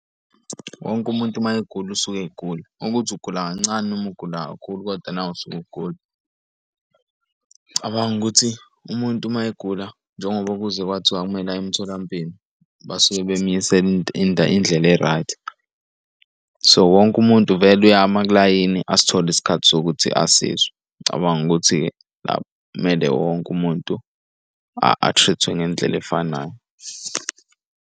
Wonke umuntu mayegula usuke egula, ukuthi ugula kancane noma ugula kakhulu, kodwa nawe usuke ugula. Ng'cabanga ukuthi umuntu uma egula njengoba kuze kwathiwa kumele aye emtholampilo, basuke bey'misele indlela e-right. So, wonke umuntu vele uyama kulayini asithole isikhathi sokuthi asizwe. Ngicabanga ukuthi-ke, la mele wonke umuntu a-treat-we ngendlela efanayo.